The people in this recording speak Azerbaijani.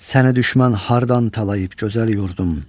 Səni düşmən hardan talayıb gözəl yurdum?